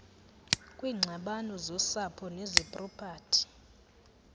kwiingxabano zosapho nezepropati